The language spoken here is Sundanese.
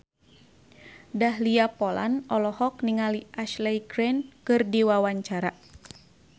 Dahlia Poland olohok ningali Ashley Greene keur diwawancara